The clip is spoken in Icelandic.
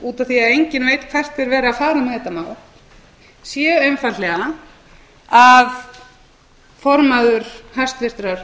af því að enginn veit hvert er verið að fara með þetta mál sé einfaldlega að